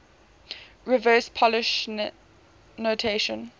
reverse polish notation